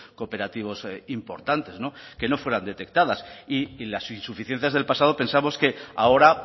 cooperativos importantes no que no fueran detectadas y las insuficiencias del pasado pensamos que ahora